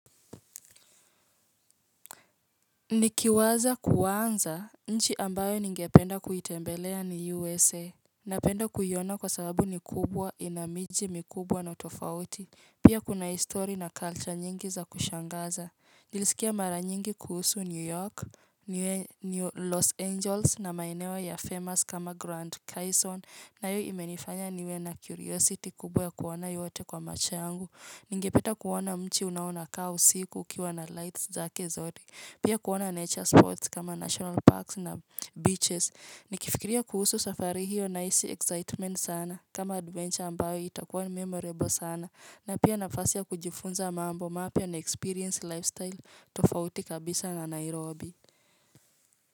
Nikiwaza kuanza nchi ambayo ningependa kuitembelea ni USA Napenda kuiona kwa sababu ni kubwa ina miji mikubwa na utofauti Pia kuna history na culture nyingi za kushangaza Nilisikia mara nyingi kuhusu New York New Los Angeles na maeneo ya famous kama Grant Kyson na yo imenifanya niwe na curiosity kubwa ya kuona yote kwa macho yangu Ningepeta kuona mchi unaonakaa usiku ukiwa na lights zake zote Pia kuona nature sports kama national parks na beaches ni kifikiria kuhusu safari hiyo na isi excitement sana kama adventure ambayo itakuwa ni memorable sana na pia nafasi ya kujifunza mambo mapia na experience lifestyle tofauti kabisa na nairobi.